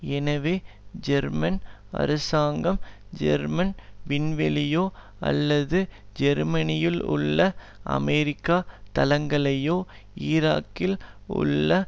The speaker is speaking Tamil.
எனவே ஜெர்மன் அரசாங்கம் ஜெர்மன் விண்வெளியையோ அல்லது ஜேர்மனியிலுள்ள அமெரிக்க தளங்களையோ ஈராக்கில் உள்ள